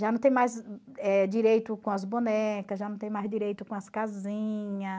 Já não tem mais eh direito com as bonecas, já não tem mais direito com as casinhas.